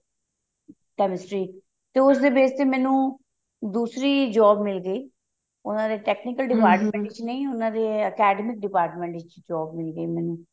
chemistry ਤੇ ਉਸਦੇ base ਤੇ ਮੈਨੂੰ ਦੂਸਰੀ job ਮਿਲ ਗਈ ਉਹਨਾ ਨੇ technical ਵਿੱਚ ਨਹੀਂ ਉਹਨਾ ਦੇ academic department ਵਿੱਚ job ਮਿਲ ਗਈ ਮੈਨੂੰ